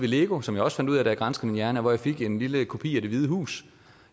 lego som jeg også fandt ud af jeg granskede min hjerne hvor jeg fik en lille kopi af det hvide hus